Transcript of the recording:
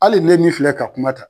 Hali ne min filɛ ka kuma ta.